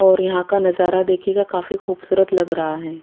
और यहा का नजारा देखिएगा काफी खुबसूरत लग रहा है।